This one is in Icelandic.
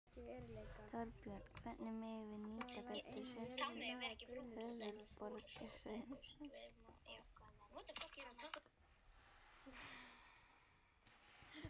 Þorbjörn: Hvernig megum við nýta betur sérstöðu höfuðborgarsvæðisins?